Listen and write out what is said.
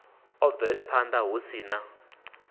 u bvelaphanda hu si na